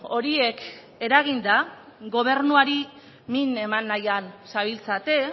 horiek eraginda gobernuari min eman nahian zabiltzate